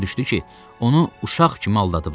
Başa düşdü ki, onu uşaq kimi aldadıblar.